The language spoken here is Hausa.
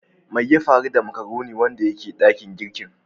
Mai ya faru da " macaroni " wanda yake dakin girki?